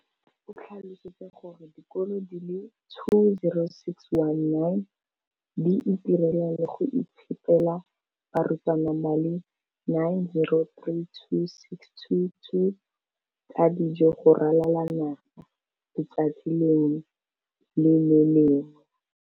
o tlhalositse gore dikolo di le 20 619 di itirela le go iphepela barutwana ba le 9 032 622 ka dijo go ralala naga letsatsi le lengwe le le lengwe.